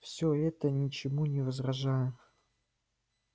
и пиренн слушал все это ничему не возражая